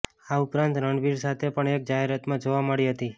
આ ઉપરાંત રણવીર સાથે પણ એક જાહેરાતમાં જોવા મળી હતી